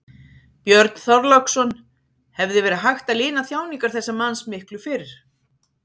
Björn Þorláksson: Hefði verið hægt að lina þjáningar þessa manns miklu fyrr?